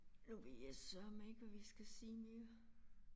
Nu ved jeg sørme ikke hvad vi skal sige mere